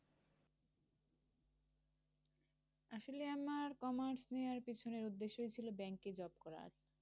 আসলে আমার commerce নেয়ার পেছনে উদ্দেশ্যই ছিল ব্যাঙ্কে job করা।